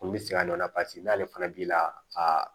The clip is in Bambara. Olu bɛ se ka dɔ la paseke n'ale fana b'i la aa